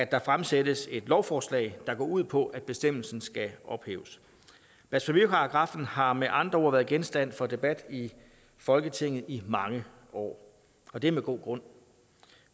der fremsættes et lovforslag der går ud på at bestemmelsen skal ophæves blasfemiparagraffen har med andre ord været genstand for debat i folketinget i mange år og det er med god grund